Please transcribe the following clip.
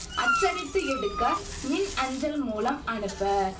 அச்சடித்து எடுக்க மின் அஞ்சல் மூலம் அனுப்ப